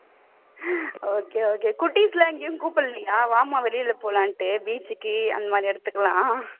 குட்டீஸ் எல்லாம் எங்கேயும் கூப்பிடலையா? வாம்மா வெளியில போலாம்னு beach க்கு அந்த மாதிரி இடத்துக்கெல்லாம்